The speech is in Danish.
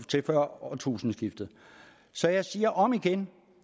til før årtusindskiftet så jeg siger om igen